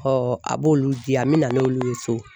a b'olu di yan me nan'olu ye so